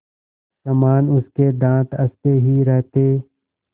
समान उसके दाँत हँसते ही रहते